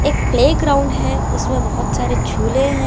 एक playground है उसमें बहुत सारे झूले हैं।